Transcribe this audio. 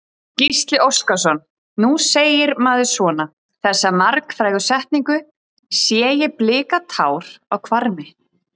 Gísli Óskarsson: Nú segir maður svona, þessa margfrægu setningu, sé ég blika tár á hvarmi?